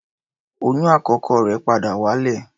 Oyún àkọ́kọ́ rẹ̀ padà wálẹ̀.